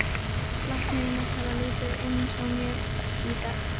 Læknirinn ætlar að líta inn hjá mér í dag.